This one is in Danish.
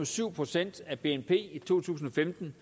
to procent af bnp i to tusind og femten